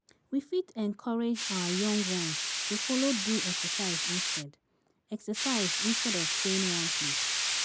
We fit encourage our young ones to follow do exercise instead exercise instead of staying one place